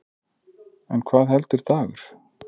En hvað heldur Dagur?